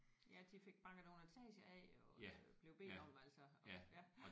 Ja de fik banket nogle etager af jo og blev bedt om altså at ja